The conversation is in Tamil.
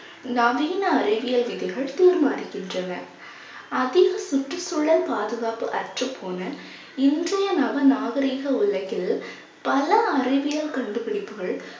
நவீன அறிவியல் விதைகள் தீர்மானிக்கின்றன அதில், சுற்றுச்சூழல் பாதுகாப்பு அற்றுப்போன இன்றைய நவ நாகரீக உலகில் பல அறிவியல் கண்டுபிடிப்புகள்